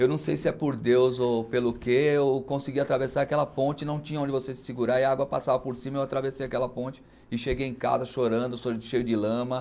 Eu não sei se é por Deus ou pelo quê, eu consegui atravessar aquela ponte, não tinha onde você se segurar e a água passava por cima, eu atravessei aquela ponte e cheguei em casa chorando, cheio de lama.